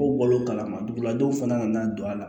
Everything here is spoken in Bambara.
Ko balo kalama dugulajɔw fana nana don a la